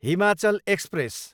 Himachal express